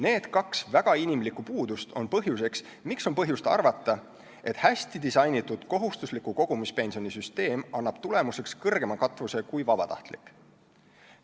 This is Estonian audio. Need kaks väga inimlikku puudust on põhjus, miks võib arvata, et hästi disainitud kohustusliku kogumispensioni süsteem annab tulemuseks kõrgema katvuse kui vabatahtlik.